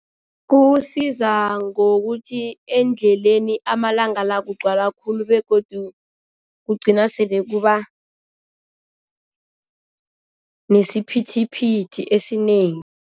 Kuwusiza ngokuthi endleleni amalanga la kugcwala khulu begodu kugcina sele kuba nesiphithiphithi esinengi.